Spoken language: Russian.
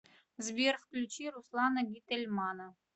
сбер включи руслана гительмана